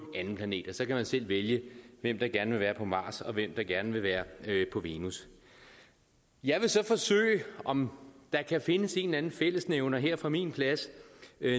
anden planet så kan man selv vælge hvem der gerne vil være på mars og hvem der gerne vil være på venus jeg vil så forsøge om der kan findes en eller anden fællesnævner her fra min plads